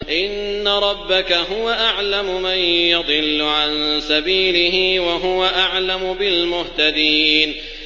إِنَّ رَبَّكَ هُوَ أَعْلَمُ مَن يَضِلُّ عَن سَبِيلِهِ ۖ وَهُوَ أَعْلَمُ بِالْمُهْتَدِينَ